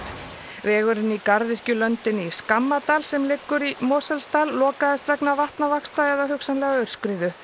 vegurinn í í Skammadal sem liggur í Mosfellsdal lokaðist vegna vatnavaxta eða hugsanlega aurskriðu